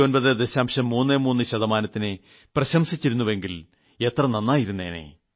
33 ശതമാനത്തിനെ പ്രശംസിച്ചിരുന്നുവെങ്കിൽ എത്ര നന്നായിരുന്നേനെ